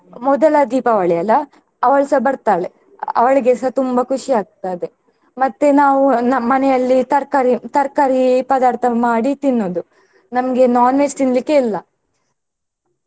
ಮೊದಲ ದೀಪಾವಳಿ ಅಲ್ಲಾ ಅವಳು ಸಹ ಬರ್ತಾಳೆ ಅವಳಿಗೆಸ ತುಂಬಾ ಖುಷಿ ಆಗ್ತದೆ ಮತ್ತೆ ನಾವು ನಮ್ಮನೆಯಲ್ಲಿ ತರ್ಕಾರಿ ತರ್ಕಾರಿ ಪದಾರ್ಥ ಮಾಡಿ ತಿನ್ನುದು ನಮಗೆ non-veg ತಿನ್ಲಿಕೆ ಇಲ್ಲ.